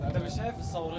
Hətta bir şey, hər şey.